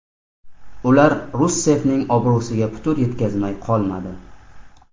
Ular Russeffning obro‘siga putur yetkazmay qolmadi.